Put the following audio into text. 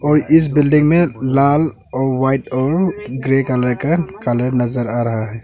और इस बिल्डिंग में लाल और व्हाइट और ग्रे कलर का कलर नजर आ रहा है।